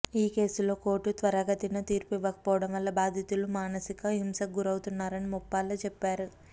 ఈ కేసులో కోర్టు త్వరితగతిన తీర్పు ఇవ్వకపోవడం వల్ల బాధితులు మానసిక హింసకు గురవుతున్నారని ముప్పాళ్ల చెప్పారు